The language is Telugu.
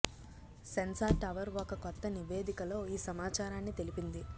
సెన్సార్ టవర్ ఒక కొత్త నివేదికలో ఈ సమాచారాన్ని తెలిపింది